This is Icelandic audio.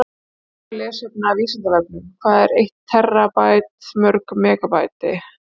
Frekara lesefni af Vísindavefnum: Hvað er eitt terabæti mörg megabæti?